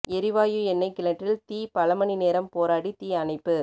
எரிவாயு எண்ணெய் கிணற்றில் தீ பல மணி நேரம் போராடி தீ அணைப்பு